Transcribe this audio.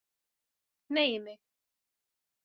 Hneigi mig.